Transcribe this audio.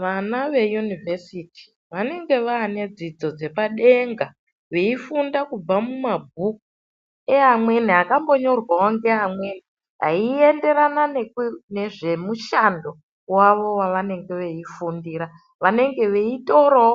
Vana ve inivhesiti vanenge vaane dzidzo dzepadenga, veifunda kubva mumabhuku eamweni akambonyorwawo ngeamweni eienderane nezvemushando wavo wavanenge veifundira, vanenge veitorawo